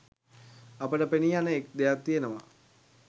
අපට පෙනීයන එක් දෙයක් තියෙනවා.